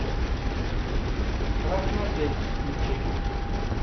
красный отель включи